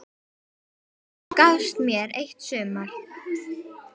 Þú gafst mér eitt sumar.